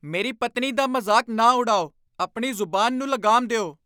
ਮੇਰੀ ਪਤਨੀ ਦਾ ਮਜ਼ਾਕ ਨਾ ਉਡਾਓ! ਆਪਣੀ ਜ਼ੁਬਾਨ ਨੂੰ ਲਗਾਮ ਦਿਉ !